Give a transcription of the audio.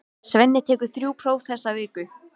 Svenni tekur þrjú próf þessa viku.